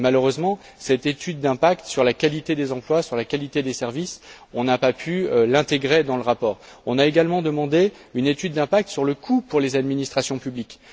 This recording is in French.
Malheureusement, cette étude d'impact sur la qualité des emplois et des services, on n'a pas pu l'intégrer dans le rapport. On a également demandé une étude d'impact sur le coût pour les administrations publiques.